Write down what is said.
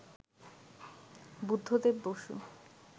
Buddhadeb Basu